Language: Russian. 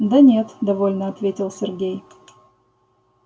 да нет недовольно ответил сергей